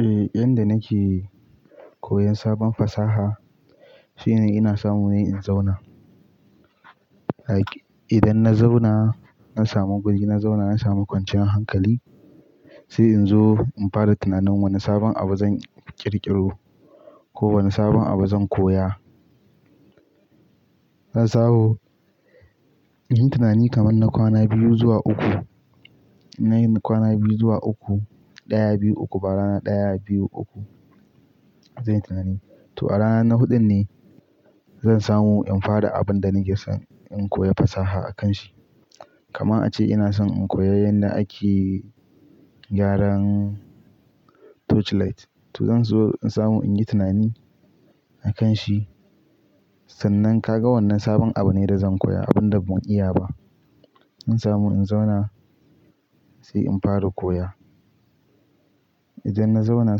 Eh, yanda nake koyan sabon fasaha shine ina samu ne in zauna. Idan na zauna na samu guri na zauna na samu kwanciyar hankali sai in zo in fara tunanin wani sabon abu zan ƙirƙiro ko wani sabon abu zan koya. Zan samu in yi tunani kaman na kwana biyu zuwa uku. Nayin kwana biyu zuwa uku, ɗaya, biyu, uku ba rana ɗaya, biyu, uku zanyi tunani. To a rana na huɗun ne zan samu in fara abin da nake son in koya fasaha a kan shi. Kamana ace ina son in koyi yanda ake gyaran torchlight. To zan zo in samu in yi tunani a kan shi. Sannan ka ga wannan sabon abu ne da zan koya, abun da ban iya ba. In samu in zauna sai in fara koya. Idan na zauna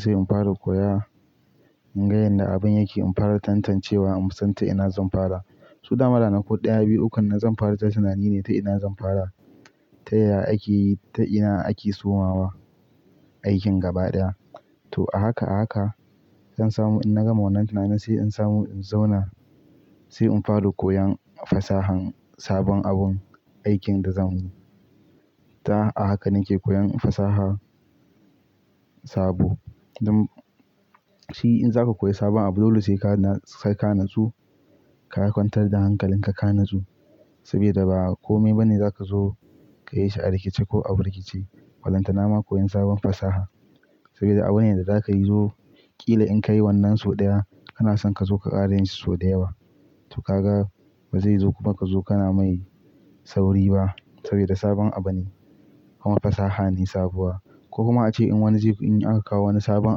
sai in fara koya in ga yanda abin yake, in fara tantancewa in san ta ina zan fara. To dama ranaku ɗaya, biyu, ukun na zan fara ta tunani ne ta ina zan fara. Ta yaya ake, ta ina ake sumawa aikin gaba ɗaya. To a haka a haka zan samu in gama wannan tunani sai in samu in zauna sai in fara koyan fasahan sabon abun aikin da zan. Ta a haka nake koyan fasaha sabo. Dun Shi in zaka koya sabon abu, dole sai ka natsu ka kwantar da hankalin ka, ka natsu sabida ba komai ba ne za ka zo ka yi shi a rikice ko a birkice. Ballantana ma koyan sabon fasaha sabida abune da za ka yi zo ƙila in ka yi wannan sau ɗaya ana son ka zo ka ƙara yin shi sau da yawa. To ka ga bazai zo kuma ka zo kana mai sauri ba sabida sabon abu ne kuma fasaha ne sabuwa. Ko kuma a ce in wani ze in aka kawo wani sabon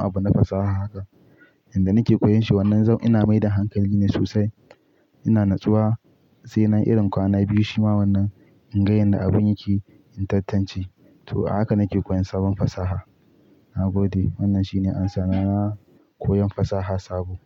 abu na fasaha haka, inda nake koyan shi wannan zan ina maida hankali ne sosai. Ina natsuwa sai na irin kwana biyu shima wannan in ga yanda abin yake, in tantance. To a haka nake koyan sabon fasaha. Na gode wannan shine ansa na na koyan fasaha sabo.